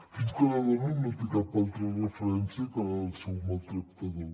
fins que la dona no té cap altra referència que la del seu maltractador